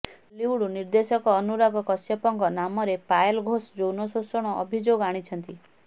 ବଲିଉଡ ନିର୍ଦ୍ଦେଶକ ଅନୁରାଗ କାଶ୍ୟପଙ୍କ ନାମରେ ପାୟଲ ଘୋଷ ଯୌନ ଶୋଷଣ ଅଭିଯୋଗ ଆଣିଛନ୍ତି